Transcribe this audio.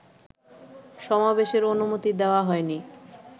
সমাবেশের অনুমতি দেওয়া হয়নি